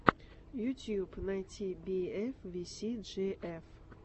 ютьюб найти би эф ви си джи эф